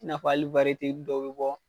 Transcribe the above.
I n'a fɔ, hali dɔw be bɔ